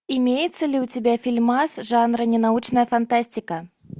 имеется ли у тебя фильмас жанра ненаучная фантастика